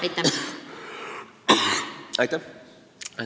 Aitäh!